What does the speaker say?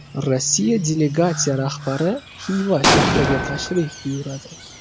Rossiya delegatsiya rahbari Xiva shahriga ham tashrif buyuradi.